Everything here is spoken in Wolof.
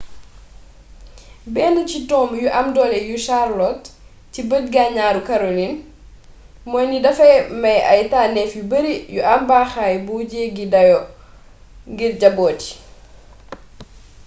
benn ci tomb yu am doole yu charlotte ci bëj-ganaaru karolin mooy ni dafay maye ay tànnéef yu bari yu am baaxaay bu jeggi dayo ngir jabóot yi